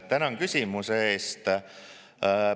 Tänan küsimuse eest!